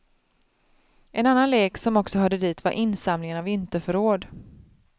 En annan lek som också hörde dit var insamlingen av vinterförråd.